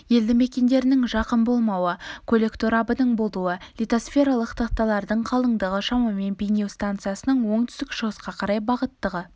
елді мекендердің жақын болмауы көлік торабының болуы литосфералық тақталардың қалыңдығы шамамен бейнеу станциясының оңтүстік-шығысқа қарай бағыттағы